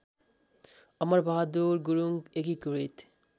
अमरबहादुर गुरुङ एकीकृत